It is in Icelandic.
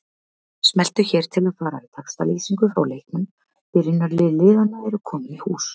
Smelltu hér til að fara í textalýsingu frá leiknum Byrjunarlið liðanna eru komin í hús.